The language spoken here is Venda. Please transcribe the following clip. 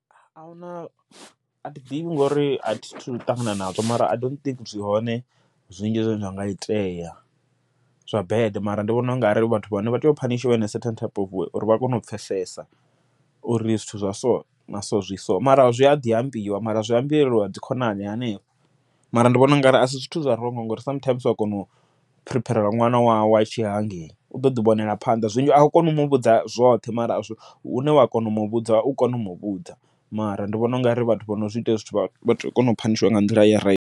Ahuna athi ḓivhi ngori a thi thu ṱangana nazwo, mara I dont think zwi hone zwinzhi zwine zwa nga itea zwa bad, mara ndi vhona u nga ri vhathu vhane vha tea u phanishiwa in a certain type of way of uri vha kone u pfhesesa, uri zwithu zwa so na so zwi so mara zwi a ḓi ambiwa mara zwi ambeliwa dzi khonani hanefha. Mara ndi vhona ungari asi zwithu zwa ronngo ngori sometimes ua kona u prepare ṅwana wau atshi ya hangei u ḓoḓi vhonela phanḓa, zwiṅwe a u koni u muvhudza zwoṱhe mara hune wa kona u muvhudza u kone u muvhudza, mara ndi vhona ungari vhathu vho no zwi ita hezwi zwithu vha kona u phanishiwa nga nḓila ya raithi.